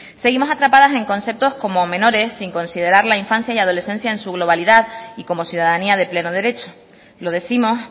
seguimos atrapadas en conceptos como menores sin considerar la infancia y adolescencia en su globalidad y como ciudadanía de pleno derecho lo décimos